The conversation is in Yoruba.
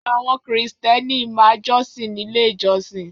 Àwọn krìstẹ́nì ma jọsìn nílé ìjosìn.